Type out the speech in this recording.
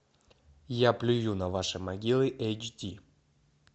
я плюю на ваши могилы эйч ди